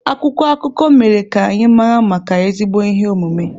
Akwụkwọ akụkọ mere ka anyị mara maka ezigbo ihe omume.